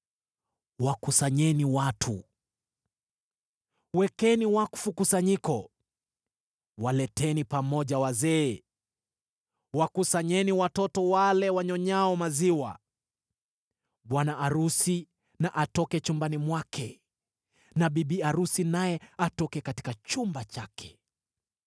Wakusanyeni watu, wekeni wakfu kusanyiko; waleteni pamoja wazee, wakusanyeni watoto, wale wanyonyao maziwa. Bwana arusi na atoke chumbani mwake na bibi arusi naye atoke katika chumba chake.